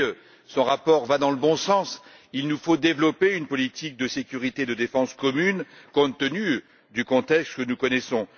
Oui, son rapport va dans le bon sens il nous faut développer une politique de sécurité et de défense commune compte tenu du contexte que nous connaissons.